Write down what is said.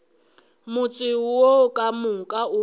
motse wo ka moka o